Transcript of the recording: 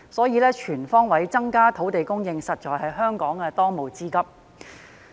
因此，全方位增加土地供應，實在是香港當務之急。